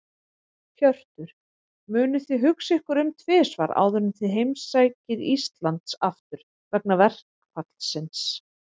Hjörtur: Munuð þið hugsa ykkur um tvisvar áður en þið heimsækið Íslands aftur, vegna verkfallsins?